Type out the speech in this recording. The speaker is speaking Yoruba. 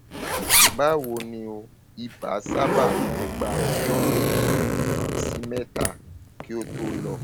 báwo ni o ibà sábà máa ń gba ọjọ méjì um sí mẹta kí ó tó lọ